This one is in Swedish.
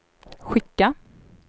skicka